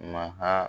Maha